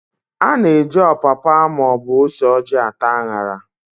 A na-eji ọpapa maọbụ ose ojị ata an̄ara.